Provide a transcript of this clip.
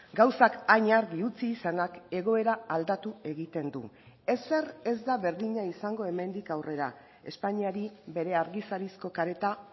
gauzak hain argi utzi izanak egoera aldatu egiten du ezer ez da berdina izango hemendik aurrera espainiari bere argizarizko kareta